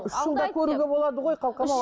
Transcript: үш жылда көруге болады ғой қалқам ау